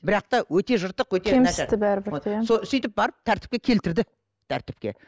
бірақ та өте жыртық сөйтіп барып тәртіпке келтірді тәртіпке